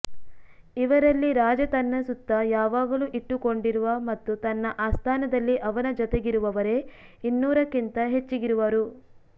ಇವರಲ್ಲಿ ರಾಜ ತನ್ನ ಸುತ್ತ ಯಾವಾಗಲೂ ಇಟ್ಟುಕೊಂಡಿರುವ ಮತ್ತು ತನ್ನ ಆಸ್ಥಾನದಲ್ಲಿ ಅವನ ಜತೆಗಿರುವವರೆ ಇನ್ನೂರಕ್ಕಿಂತ ಹೆಚ್ಚಿಗಿರುವರು